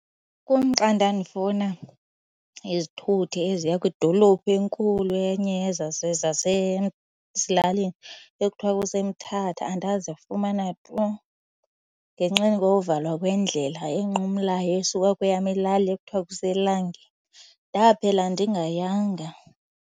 Kumxa ndandifuna izithuthi eziya kwidolophu enkulu enye zasezilalini ekuthiwa kuseMthatha. Andazifumana tu ngenxeni kokuvalwa kwendlela enqumlayo esuka kweyam ilali ekuthiwa kuseLangi. Ndaphela ndingayanga.